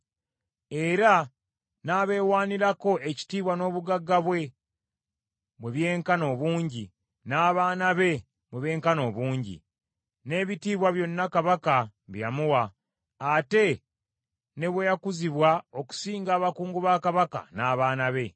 era n’abeewaanirako ekitiibwa n’obugagga bwe, bwe byenkana obungi, n’abaana be bwe benkana obungi, n’ebitiibwa byonna Kabaka bye yamuwa, ate ne bwe yakuzibwa okusinga abakungu ba Kabaka n’abaana be.